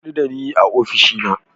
Ka hadu da ni a ofishina.